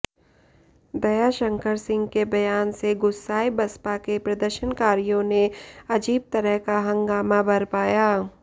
दयाशंकर सिंह के बयान से गुस्साए बसपा के प्रदर्शनकारियों ने अजीब तरह का हंगामा बरपाया